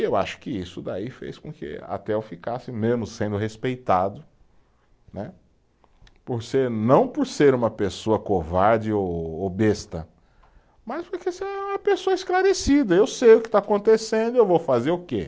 E eu acho que isso daí fez com que até eu ficasse mesmo sendo respeitado, né, por ser, não por ser uma pessoa covarde ou, ou besta, mas porque eu sou uma pessoa esclarecida, eu sei o que está acontecendo, e eu vou fazer o quê?